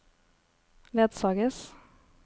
ledsages